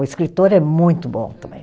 O escritor é muito bom também.